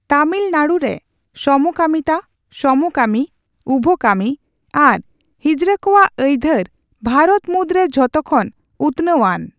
ᱛᱟᱢᱤᱞᱱᱟᱰᱩ ᱨᱮ ᱥᱚᱢᱚᱠᱟᱢᱤᱱᱟ, ᱥᱚᱢᱚᱠᱟᱢᱤ, ᱩᱵᱷᱚᱠᱟᱢᱤ ᱟᱨ ᱦᱤᱡᱲᱟᱹ ᱠᱚᱣᱟᱜ ᱟᱹᱭᱫᱷᱟᱹᱨ ᱵᱷᱟᱨᱚᱛ ᱢᱩᱫᱨᱮ ᱡᱷᱚᱛᱚᱠᱷᱚᱱ ᱩᱛᱱᱟᱹᱣ ᱟᱱ ᱾